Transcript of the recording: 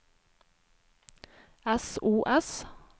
sos